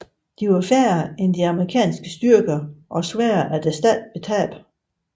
De var færre end de amerikanske styrker og sværere at erstatte ved tab